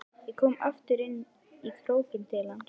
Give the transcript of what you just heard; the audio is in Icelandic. Ég kom aftur inn í krókinn til hans.